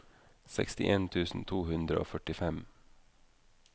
sekstien tusen to hundre og førtifem